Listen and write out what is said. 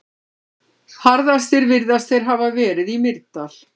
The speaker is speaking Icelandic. Harðastir virðast þeir hafa verið í Mýrdal.